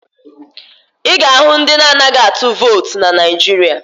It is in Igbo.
Ị ga-ahụ ndị na-anaghị atụ vootu na Naịjirịa